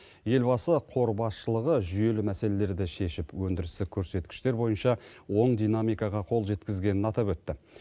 елбасы қор басшылығы жүйелі мәселелерді шешіп өндірістік көрсеткіштер бойынша оң динамикаға қол жеткізгенін атап өтті